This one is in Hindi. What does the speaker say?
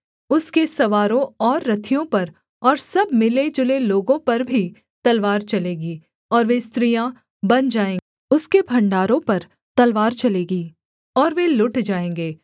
उसके सवारों और रथियों पर और सब मिले जुले लोगों पर भी तलवार चलेगी और वे स्त्रियाँ बन जाएँगे उसके भण्डारों पर तलवार चलेगी और वे लुट जाएँगे